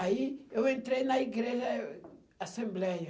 Aí eu entrei na igreja, eh, assembleia.